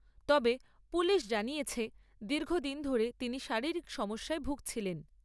তবে, পুলিশ জানিয়েছে, দীর্ঘদিন ধরে তিনি শারীরিক সমস্যায় ভুগছিলেন।